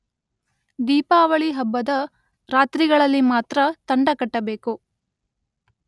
ದೀಪಾವಳಿ ಹಬ್ಬದ ರಾತ್ರಿಗಳಲ್ಲಿ ಮಾತ್ರ ತಂಡ ಕಟ್ಟಬೇಕು.